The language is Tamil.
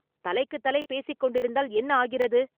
தலைக்குத் தலை பேசிக் கொண்டிருந்தால் என்ன ஆகிறது?